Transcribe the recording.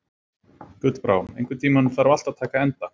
Gullbrá, einhvern tímann þarf allt að taka enda.